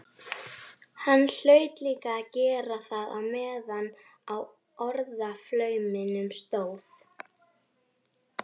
Hann hlaut líka að gera það meðan á orðaflauminum stóð.